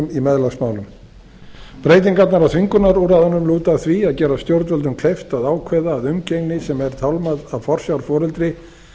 í meðlagsmálum breytingarnar á þvingunarúrræðunum lúta að því að gera stjórnvöldum kleift að ákveða að umgengni sem er tálmað af forsjárforeldri